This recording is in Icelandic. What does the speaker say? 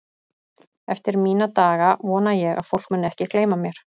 eftir mína daga vona ég að fólk muni ekki gleyma mér